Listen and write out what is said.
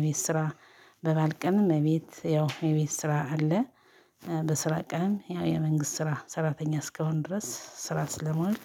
እቤት ስራ በባል ቀንም እቤት ያው እቤት ስራ አለ። በስራ ቀን ያው የመንግስት ስራ ሰራተኛ እስካሁን ድረስ ስራ ስለምውል።